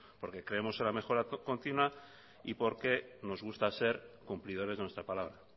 porque creemos en la mejora continua y porque nos gusta ser cumplidores de nuestra palabra